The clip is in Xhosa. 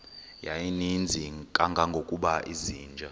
yayininzi kangangokuba izinja